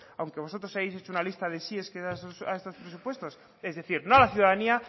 aunque vosotros hayáis hecho una lista de sí a estos presupuesto es decir no a la ciudadanía